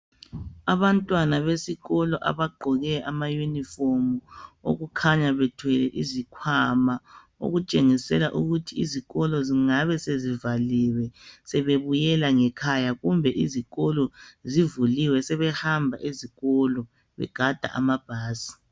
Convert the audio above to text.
Abantwana besikolo abagqoke ama uniform okukhanya bethwele izikhwama okutshengisela ukuthi izikolo zingabe sezivaliwe sebebuyela ngekhaya kumbe izikolo zivuliwe sebehamba ezikolo begada amabhasi.